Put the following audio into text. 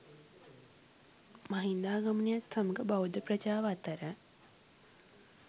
මහින්දාගමනයත් සමඟ බෞද්ධ ප්‍රජාව අතර